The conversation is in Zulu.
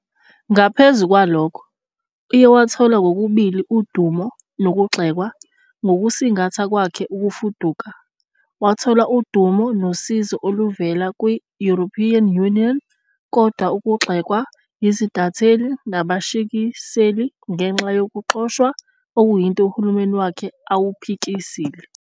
Ngaphezu kwalokho, uye wathola kokubili udumo nokugxekwa ngokusingatha kwakhe ukufuduka, wathola udumo nosizo oluvela kwI-European Union, kodwa ukugxekwa yizintatheli nabashisekeli ngenxa yokuxoshwa, okuyinto uhulumeni wakhe awuphikisile.